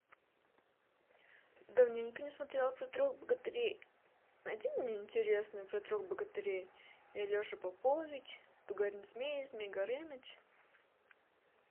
давненько не смотрела про трех богатырей найди мне интересное про трех богатырей и алеша попович тугарин змей змей горыныч